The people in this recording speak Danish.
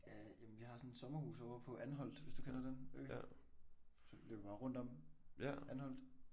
Øh jamen vi har sådan et sommerhus ovre på Anholt hvis du kender den ø. Så løber jeg rundt om Anholt